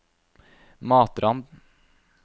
Matrand